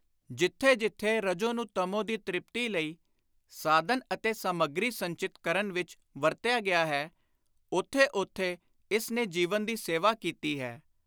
ਜਿੱਥੇ ਜਿੱਥੇ ਰਜੋ ਨੂੰ ਤਮੋ ਦੀ ਤਿਪਤੀ ਲਈ ਸਾਧਨ ਅਤੇ ਸਾਮੱਗ਼ੀ ਸੰਚਿਤ ਕਰਨ ਵਿਚ ਵਰਤਿਆ ਗਿਆ ਹੈ, ਉਥੇ ਉਥੇ ਇਸ ਨੇ ਜੀਵਨ ਦੀ ਸੇਵਾ ਕੀਤੀ ਹੈ।